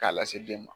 K'a lase den ma